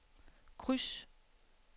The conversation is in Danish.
kryds